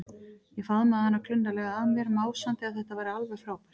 Ég faðmaði hana klunnalega að mér, másandi að þetta væri alveg frábært.